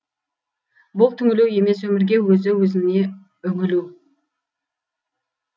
бұл түңілу емес өмірге өзі өзіңе үңілу